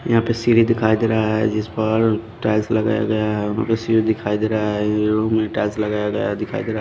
यहां पे सीढ़ी दिखाई दे रहा है जिस पर टाइल्स लगाया गया है वहां पे सीढ़ी दिखाई दे रहा है टाइल्स लगाया गया है दिखाई दे रहा है।